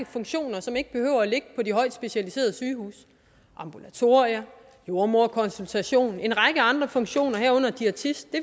funktioner som ikke behøver at ligge på de højt specialiserede sygehuse ambulatorier jordemoderkonsultation en række andre funktioner herunder diætist det